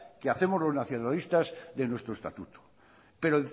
que hacemos los nacionalistas de nuestro estatuto pero